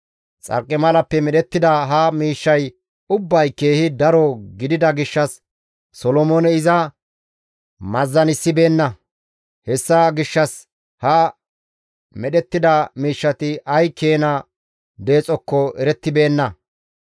Xarqimalappe medhettida ha miishshay ubbay keehi daro gidida gishshas Solomooney iza meezanissibeenna; hessa gishshas ha medhettida miishshati ay keena deexokko erettibeenna.